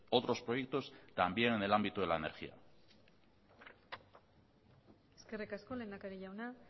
otros proyectos también en el ámbito de la energía eskerrik asko lehendakari jauna